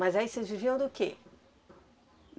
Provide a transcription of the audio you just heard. Mas aí vocês viviam do quê?